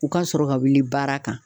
O ka sɔrɔ ka wuli baara kan